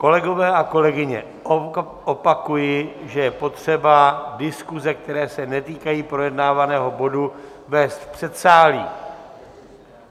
Kolegové a kolegyně, opakuji, že je potřeba diskuse, které se netýkají projednávaného bodu, vést v předsálí.